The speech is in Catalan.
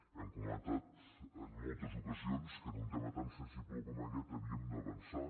hem comentat en moltes ocasions que en un tema tan sensible com aquest havíem d’avançar